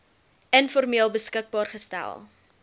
informeel beskikbaar gestel